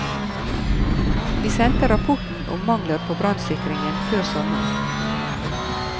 Vi sendte rapporten om mangler på brannsikringen før sommeren.